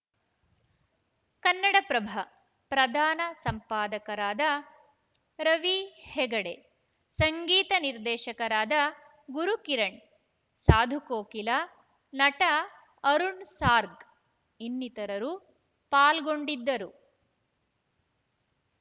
ಕನ್ನಡಪ್ರಭ ಪ್ರಧಾನ ಸಂಪಾದಕರಾದ ರವಿ ಹೆಗಡೆ ಸಂಗೀತ ನಿರ್ದೇಶಕರಾದ ಗುರುಕಿರಣ್‌ ಸಾಧುಕೋಕಿಲಾ ನಟ ಅರುಣ್‌ ಸಾರ್ಕ್ ಇನ್ನಿತರರು ಪಾಲ್ಗೊಂಡಿದ್ದರು